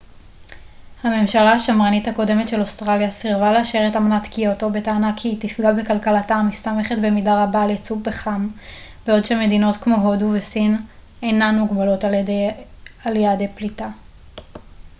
הממשלה השמרנית הקודמת של אוסטרליה סירבה לאשר את אמנת קיוטו בטענה כי היא תפגע בכלכלתה המסתמכת במידה רבה על ייצוא פחם בעוד שמדינות כמו הודו וסין אינן מוגבלות על ידי יעדי פליטה